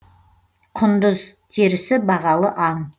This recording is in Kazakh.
құндыз терісі бағалы аң